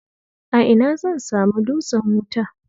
A ina zan samu dutsen wuta?